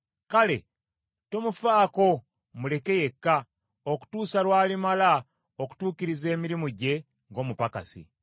Kale tomufaako muleke yekka, okutuusa lw’alimala okutuukiriza emirimu gye ng’omupakasi.